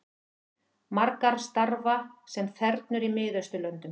Margar starfa sem þernur í Miðausturlöndum